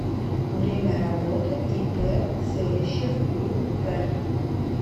время работы ип целищев юп